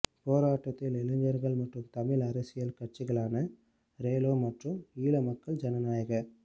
போராட்டத்தில் இளைஞர்கள் மற்றும் தமிழ் அரசியல் கட்சிகளான ரெலோ மற்றும் ஈழ மக்கள் ஜனநாயக